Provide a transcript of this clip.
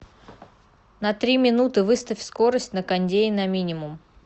на три минуты выставь скорость на кондее на минимум